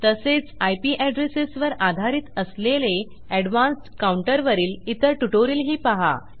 तसेच IP addresses वर आधारित असलेले एडवान्स्ड काउंटर वरील इतर ट्युटोरियलही पहा